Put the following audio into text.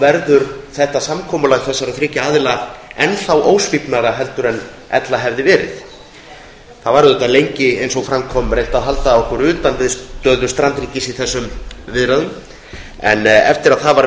verður þetta samkomulag þessara þriggja aðila enn ósvífnara en ella hefði verið það var auðvitað lengi eins og fram kom reynt að halda okkur utan við stöðu strandríkis í þessum viðræðum en eftir að það var